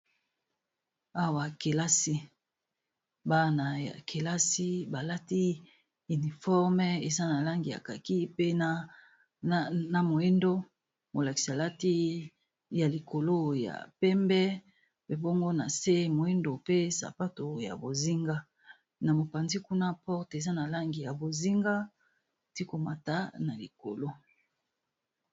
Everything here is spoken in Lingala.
Awa kelasi ya bana balati uniforme eza na langi yakaki pe na moindo molakis, alati ya likolo ya pembe ,pe bongo na se moindo pe sapato ya bozinga na mopanzi kuna porte eza na langi ya bozinga ti komata na likolo.